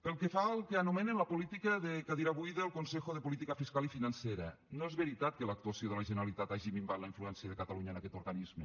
pel que fa al que anomenen la política de cadira buida al consejo de política fiscal i financera no és veritat que l’actuació de la generalitat hagi minvat la influència de catalunya en aquest organisme